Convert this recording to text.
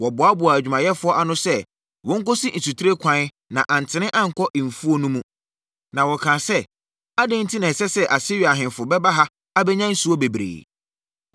Wɔboaboaa adwumayɛfoɔ ano sɛ wɔnkɔsi nsutire kwan na antene ankɔ mfuo no mu. Na wɔkaa sɛ, “Adɛn enti na ɛsɛ sɛ Asiria ahemfo bɛba ha abɛnya nsuo bebree?”